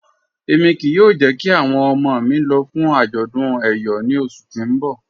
Ẹ̀mi kíí yóò jẹ̀ kí awọn ọmọ mi lọ̀ fún ajọ̀dún Eyọ̀ ní ọṣù tí n bọ̀